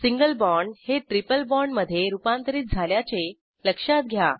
single bond हे triple बाँडमधे रूपांतरित झाल्याचे लक्षात घ्या